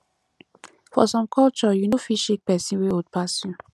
for some culture you no fit shake person wey old pass you